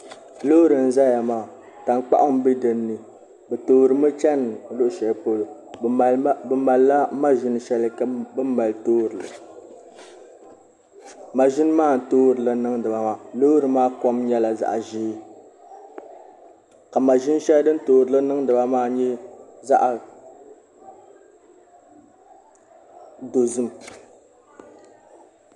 Loori n ʒɛya maa tankpaɣu n bɛ dinni bi toorimi chɛni luɣu shɛli polo bi malila maʒini shɛli bi ni mali toorili kaʒini maa n toorili niŋdiba loori maa kom nyɛla zaɣ ʒiɛ ka maʒini shɛli din toori niŋdi ba maa nyɛ zaɣ dozim